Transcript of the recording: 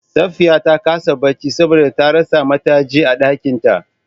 Safiya ta kasa bacci saboda ta rasa matajin a ɗakin ta.